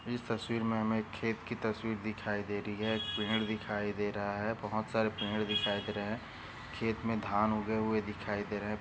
इस तस्वीर मे हमे खेत की तस्वीर दिखाई दे रही है एक पेड़ दिखाई दे रहा है बहुत सारे पेड़ दिखाई दे रहे है खेत मे धान उगे हुए दिखाई दे रहे।